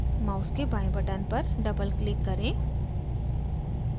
mouse के बाएं button पर doubleclick करें